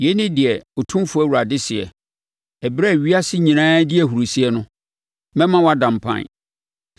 Yei ne deɛ Otumfoɔ Awurade seɛ: Ɛberɛ a ewiase nyinaa redi ahurisie no, mɛma woada mpan.